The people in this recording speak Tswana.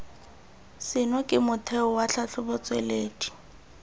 seno ke motheo wa tlhatlhobotsweledi